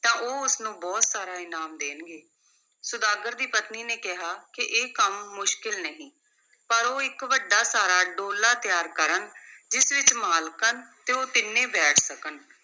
ਤਾਂ ਉਹ ਉਸ ਨੂੰ ਬਹੁਤ ਸਾਰਾ ਇਨਾਮ ਦੇਣਗੇ, ਸੁਦਾਗਰ ਦੀ ਪਤਨੀ ਨੇ ਕਿਹਾ ਕਿ ਇਹ ਕੰਮ ਮੁਸ਼ਕਿਲ ਨਹੀਂ, ਪਰ ਉਹ ਇਕ ਵੱਡਾ ਸਾਰਾ ਡੋਲਾ ਤਿਆਰ ਕਰਨ, ਜਿਸ ਵਿਚ ਮਾਲਕਣ ਤੇ ਉਹ ਤਿੰਨੇ ਬੈਠ ਸਕਣ।